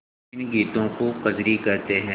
इन गीतों को कजरी कहते हैं